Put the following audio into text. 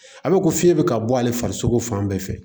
A bɛ ko fiɲɛ bɛ ka bɔ ale farisogo fan bɛɛ fɛ